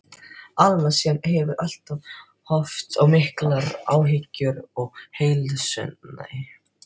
Alma sem hefur alltaf haft svo miklar áhyggjur af heilsunni.